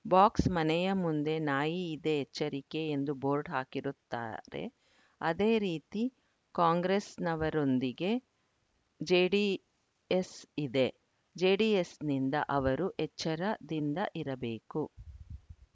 box ಮನೆಯ ಮುಂದೆ ನಾಯಿ ಇದೆ ಎಚ್ಚರಿಕೆ ಎಂದು ಬೋರ್ಡ್‌ ಹಾಕಿರುತ್ತಾರೆ ಅದೇ ರೀತಿ ಕಾಂಗ್ರೆಸ್‌ನವರೊಂದಿಗೆ ಜೆಡಿಎಸ್‌ ಇದೆ ಜೆಡಿಎಸ್‌ನಿಂದ ಅವರು ಎಚ್ಚರದಿಂದ ಇರಬೇಕು